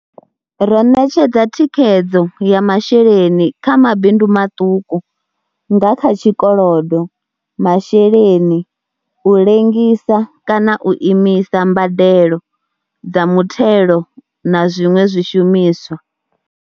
Ro ṋetshedza thikhedzo ya masheleni kha mabindu maṱuku nga kha tshikolodo, masheleni, u lengisa kana u imisa mbadelo dza muthelo na zwiṅwe zwishumiswa.